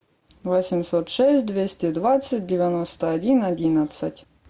восемьсот шесть двести двадцать девяносто один одиннадцать